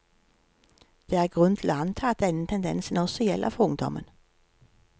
Det er grunn til å anta at denne tendensen også gjelder for ungdommen.